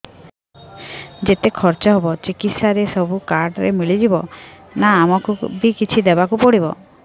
ଯେତେ ଖର୍ଚ ହେବ ଚିକିତ୍ସା ରେ ସବୁ କାର୍ଡ ରେ ମିଳିଯିବ ନା ଆମକୁ ବି କିଛି ଦବାକୁ ପଡିବ